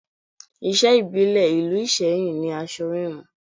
Iṣẹ́ ìbílẹ̀ ìlú Iseyin ni aṣọ híhun